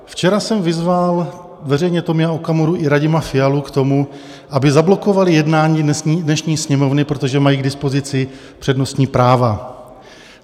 Včera jsem vyzval veřejně Tomia Okamuru i Radima Fialu k tomu, aby zablokovali jednání dnešní Sněmovny, protože mají k dispozici přednostní práva.